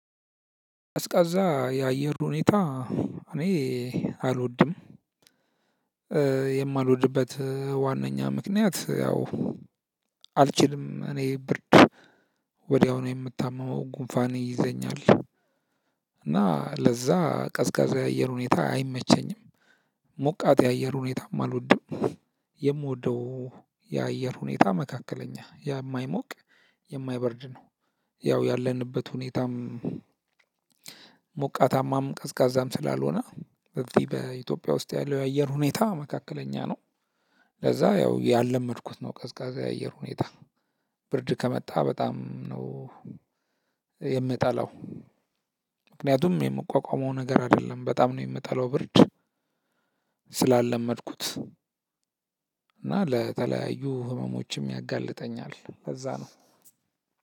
ቀዝቃዛ እ የአየር ሁኔታ እኔ አልወድም። እ የማልወድበት ዋነኛ ምክንያት ያው አልችልም እኔ ብርድ ወዲያው ነው የምታመመው ጉንፋን ይይዘኛል። እና ለዛ ቀዝቃዛ የሆነ ሁኔታ አይመቸኝም። ሞቃት የአየር ሁኔታም አልወድም። የምወደው የአየር ሁኔታ መካከለኛ የማይሞቅ የማይበርድ ነው። ያው ያለንበት ሁኔታም። ሞቃታማም ቀዝቃዛም ስላልሆነ በዚ በኢትዮጵያ ውስጥ ያለው የአየር ሁኔታ መካከለኛ ነው። ለዛ ያው ያላመድኩት ነው። ቀዝቃዛ የአየር ሁኔታ ብርድ ከመጣ በጣም ነው። የምጠላው ምክንያቱም የምቋቋመው ነገር አይደለም በጣም ነው የምጠላው ብርድ ስላለመድኩት። እና ለተለያዩ ህመሞችም ያጋልጠኛል ለዛ ነው።